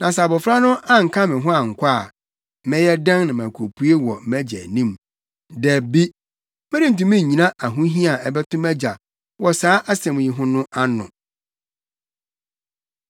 Na sɛ abofra no anka me ho ankɔ a, mɛyɛ dɛn na makopue wɔ mʼagya anim? Dabi! Merentumi nnyina ahohia a ɛbɛto mʼagya wɔ saa asɛm yi ho no ano.”